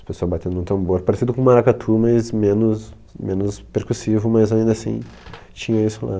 As pessoas batendo no tambor, parecido com maracatu, mas menos menos percussivo, mas ainda assim tinha isso lá.